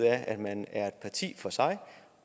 at man er et parti for sig